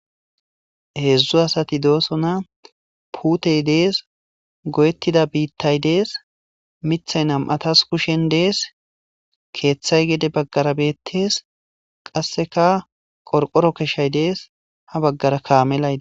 heedzdzu asati dooso na puutey dees goyettida biittay dees mithay nam7atas kushen dees keeththay gede baggara beettes qasseka qorqoro keshay dees ha baggara kaamelayde